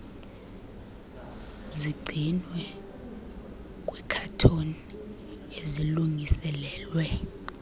zigcinwe kwiikhathoni ezilungiselelwe